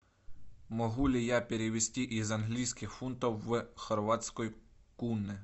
могу ли я перевести из английских фунтов в хорватской куны